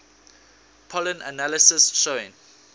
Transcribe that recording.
pollen analysis showing